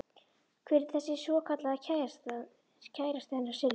Hver er þessi svokallaði kærasti hennar Sillu?